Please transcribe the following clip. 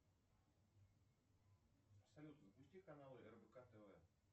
салют запусти каналы рбк тв